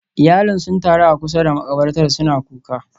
Iyalin sun taru a kusa da makabartar suna kuka